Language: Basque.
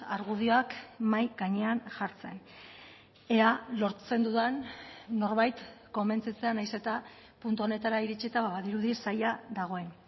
argudioak mahai gainean jartzen ea lortzen dudan norbait konbentzitzea nahiz eta puntu honetara iritsita badirudi zaila dagoen